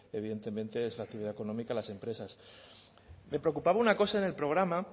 evidentemente es la actividad económica de las empresas me preocupaba una cosa en el programa